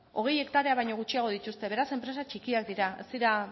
hogei hektarea baino gutxiago dituzte beraz enpresa txikiak dira ez dira